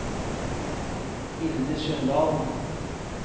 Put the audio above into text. Hilde Sundal